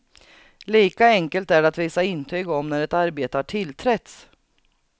Lika enkelt är det att visa intyg om när ett arbete har tillträtts.